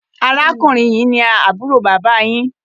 Arákùnrin yí ní àbúrò bàbà yín